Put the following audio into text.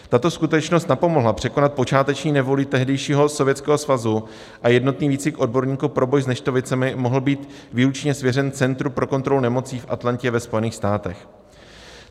Tato skutečnost napomohla překonat počáteční nevoli tehdejšího Sovětského svazu a jednotný výcvik odborníků pro boj s neštovicemi mohl být výlučně svěřen Centru pro kontrolu nemocí v Atlantě ve Spojených státech.